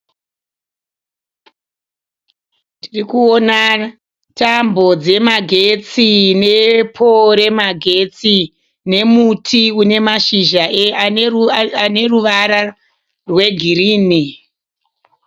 Ndiri kuona tambo dzemagetsi ne pole remagetsi, nemuti unemashizha ane ruvara rweGirini.